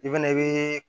I fɛnɛ be